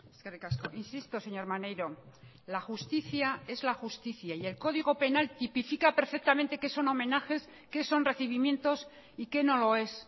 eskerrik asko insisto señor maneiro la justicia es la justicia y el código penal tipifica perfectamente qué son homenajes qué son recibimientos y qué no lo es